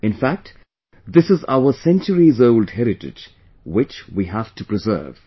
In fact, this is our centuries old heritage, which we have to preserve